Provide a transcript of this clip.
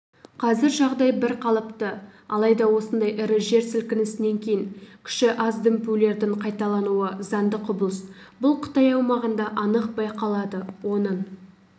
қазір жағдай бірқалыпты алайда осындай ірі жер сілкінісінен кейін күші аз дүмпулердің қайталануы заңды құбылыс бұл қытай аумағында анық байқалады оның